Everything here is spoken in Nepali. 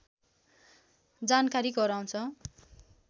जानकारी गराउँछ